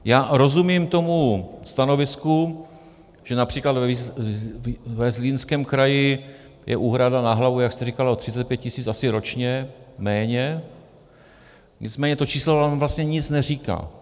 Já rozumím tomu stanovisku, že například ve Zlínském kraji je úhrada na hlavu, jak jste říkala, o 35 tisíc - asi ročně - méně, nicméně to číslo nám vlastně nic neříká.